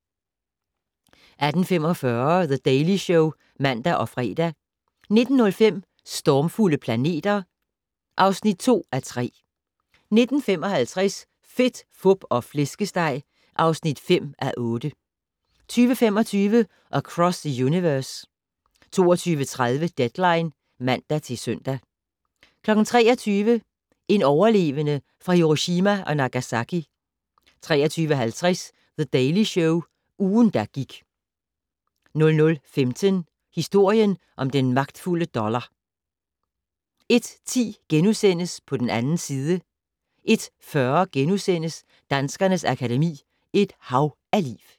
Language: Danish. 18:45: The Daily Show (man og fre) 19:05: Stormfulde planeter (2:3) 19:55: Fedt, Fup og Flæskesteg (5:8) 20:25: Across the Universe 22:30: Deadline (man-søn) 23:00: En overlevende fra Hiroshima og Nagasaki 23:50: The Daily Show - ugen, der gik 00:15: Historien om den magtfulde dollar 01:10: På den 2. side * 01:40: Danskernes Akademi: Et hav af liv *